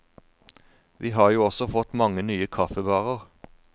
Vi har jo også fått mange nye kaffebarer.